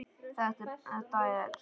Þetta er